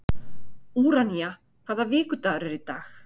Úranía, hvaða vikudagur er í dag?